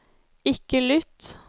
ikke lytt